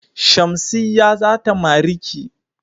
Shamsiyya zata mariki.